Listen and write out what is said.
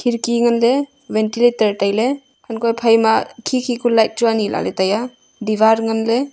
khidki nganle ventilator taile hanko phaima khi khi ku light chu ani la le taiya diwar nganle.